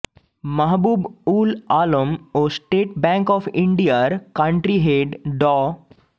মাহবুব উল আলম ও state bank of ইন্ডিয়ার country head ড